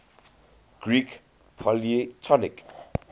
greek polytonic